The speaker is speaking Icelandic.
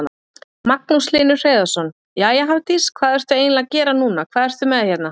Magnús Hlynur Hreiðarsson: Jæja Hafdís, hvað ertu eiginlega að gera núna, hvað ert með hérna?